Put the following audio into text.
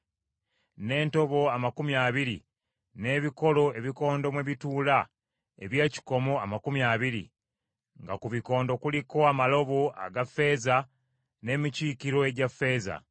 n’entobo amakumi abiri n’ebikolo ebikondo mwe bituula eby’ekikomo amakumi abiri; nga ku bikondo kuliko amalobo aga ffeeza n’emikiikiro egya ffeeza.